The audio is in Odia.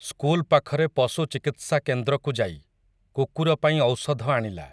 ସ୍କୁଲ୍‌ ପାଖରେ ପଶୁ ଚିକିତ୍ସାକେନ୍ଦ୍ରକୁ ଯାଇ, କୁକୁରପାଇଁ ଔଷଧ ଆଣିଲା ।